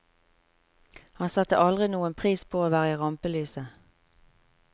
Han satte aldri noen pris på å være i rampelyset.